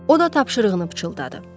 O da tapşırığını pıçıldadı.